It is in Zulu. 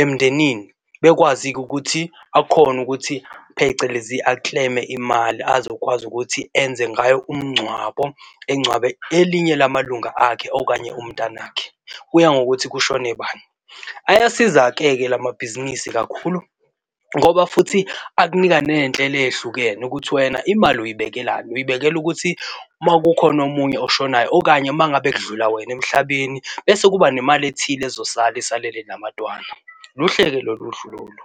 emndenini. Bekwazi-ke ukuthi akhone ukuthi phecelezi a-claim-e imali azokwazi ukuthi enze ngayo umngcwabo engcwabe elinye lamalunga akhe okanye umntwana akhe. Kuya ngokuthi kushone bani. Ayasiza-ke ke lamabhizinisi kakhulu ngoba futhi akunika nezinhlelo ezihlukene ukuthi wena imali uyibekelani, uyibekela ukuthi uma kukhona omunye oshonayo okanye uma ngabe kudlula wena emhlabeni, bese kuba nemali ethile ezosala isalele nabantwana. Luhle-ke lo luhlu lolu.